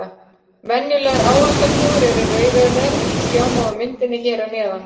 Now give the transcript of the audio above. Venjulegar ávaxtaflugur eru rauðeygðar eins og sjá má á myndinni hér að neðan.